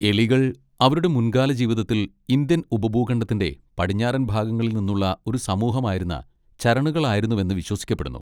എലികൾ അവരുടെ മുൻകാല ജീവിതത്തിൽ ഇന്ത്യൻ ഉപഭൂഖണ്ഡത്തിന്റെ പടിഞ്ഞാറൻ ഭാഗങ്ങളിൽ നിന്നുള്ള ഒരു സമൂഹമായിരുന്ന ചരണുകളായിരുന്നുവെന്ന് വിശ്വസിക്കപ്പെടുന്നു.